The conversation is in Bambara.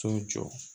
So jɔ